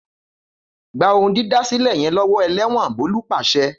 Gba ohun didasilẹ yẹn lọwọ ẹlẹ́wọ̀nBolu paṣẹ